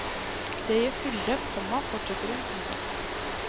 Det gir fylde, komma fortsetter hun. punktum